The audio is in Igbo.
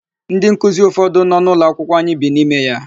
Ndị nkuzi ụfọdụ nọ n'ụlọakwụkwọ anyị bi n'ime ya.